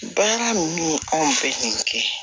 Baara ninnu anw fɛ yan